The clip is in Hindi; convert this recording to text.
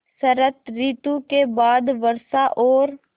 शरत ॠतु के बाद वर्षा और